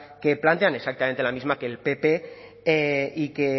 que plantean exactamente la misma que el pp y que